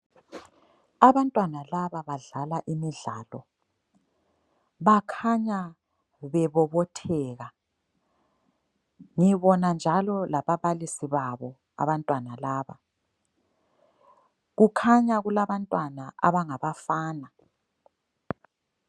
Abantwana laba badlala imidlalo bakhanya bebobotheka, ngibona njalo lababalisi babo abantwana laba kukhanya kulabantwana abangabafana.